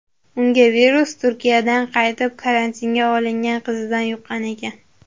Unga virus Turkiyadan qaytib karantinga olingan qizidan yuqqan ekan.